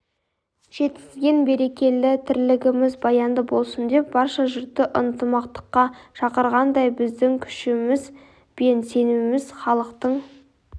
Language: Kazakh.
жеткізген берекелі тірлігіміз баянды болсын деп барша жұртты ынтымаққа шақырғандай біздің күшіміз бен сеніміміз халықтың